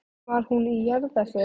Var hún í jarðarför í gær?